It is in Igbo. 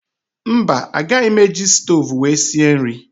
Mba agaghị m eji stoovú wee sie nri